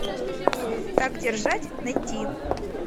так держать найти